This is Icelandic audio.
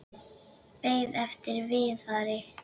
Beið eftir Viðari.